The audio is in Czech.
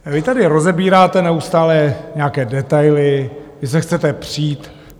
Vy tady rozebíráte neustále nějaké detaily, vy se chcete přít.